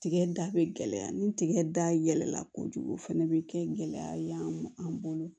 Tigɛ da bɛ gɛlɛya ni tigɛ da yɛlɛla kojugu fɛnɛ bɛ kɛ gɛlɛya ye anw ma an bolo